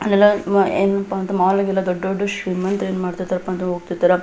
ಅಲ್ಲೆಲ್ಲ ಏನಪ್ಪಾ ಅಂದ್ರೆ ಮಾಲ್ ಗೆಲ್ಲ ಶ್ರೀಮಂತರು ಏನ್ ಇರ್ತಾರಪ್ಪ ಅಂತಂದ್ರ ಹೋಗ್ತಿರ್ತಾರ.